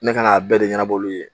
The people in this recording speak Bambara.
Ne ka n'a bɛɛ de ɲɛnab'olu ye.